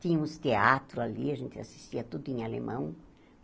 Tinha uns teatro ali, a gente assistia tudo em alemão.